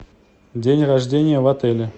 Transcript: день рождения в отеле